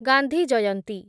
Gandhi Jayanti